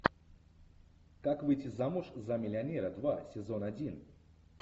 как выйти замуж за миллионера два сезон один